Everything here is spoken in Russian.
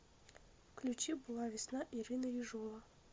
включи была весна ирина ежова